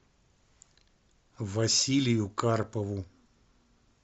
василию карпову